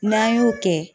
N'an y'o kɛ